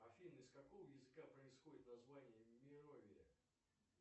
афина из какого языка происходит название мировия